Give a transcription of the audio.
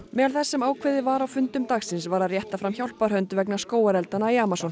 meðal þess sem ákveðið var á fundum dagsins var að rétta fram hjálparhönd vegna skógareldanna í Amazon